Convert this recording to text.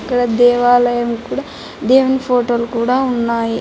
ఇక్కడ దేవాలయం కూడా దేవుని ఫోటోలు కూడా ఉన్నాయి.